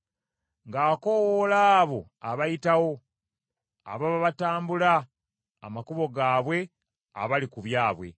ng’akoowoola abo abayitawo, ababa batambula amakubo gaabwe abali ku byabwe.